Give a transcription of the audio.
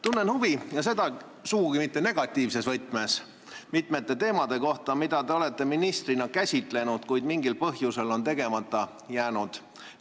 Tunnen huvi, ja seda sugugi mitte negatiivses võtmes, mitme teema vastu, mida te olete ministrina käsitlenud, kuid mille puhul mingil põhjusel on teod tegemata jäänud.